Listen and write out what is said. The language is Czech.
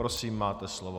Prosím, máte slovo.